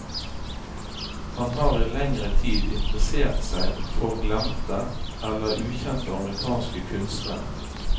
Han har i lengre tid interessert seg for glemte eller ukjente amerikanske kunstnere.